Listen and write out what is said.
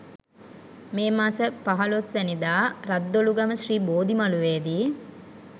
මේ මස 15 වැනි දා රද්දොළුගම ශ්‍රී බෝධිමළුවේ දී